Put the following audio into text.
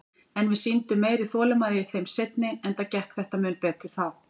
En við sýndum meiri þolinmæði í þeim seinni, enda gekk þetta mun betur þá.